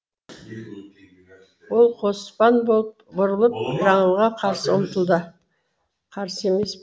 ол қоспан болып бұрылып жаңылға қарсы ұмтылды қарсы емес